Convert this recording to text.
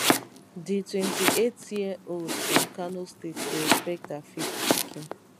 di 28yearold from kano state dey expect her fifth pikin